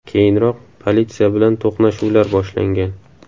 Keyinroq politsiya bilan to‘qnashuvlar boshlangan.